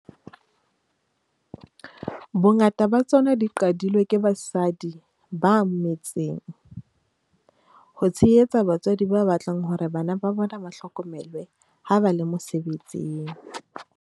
Bongata ba tsona di qadilwe ke basadi ba me tseng ho tshehetsa batswadi ba batlang hore bana ba bona ba hlokomelwe ha ba le mose betsing.